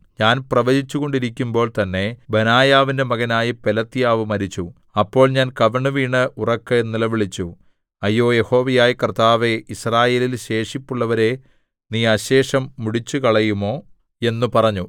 ഞാൻ പ്രവചിച്ചുകൊണ്ടിരിക്കുമ്പോൾ തന്നെ ബെനായാവിന്റെ മകനായ പെലത്യാവ് മരിച്ചു അപ്പോൾ ഞാൻ കവിണ്ണുവീണ് ഉറക്കെ നിലവിളിച്ചു അയ്യോ യഹോവയായ കർത്താവേ യിസ്രായേലിൽ ശേഷിപ്പുള്ളവരെ നീ അശേഷം മുടിച്ചു കളയുമോ എന്ന് പറഞ്ഞു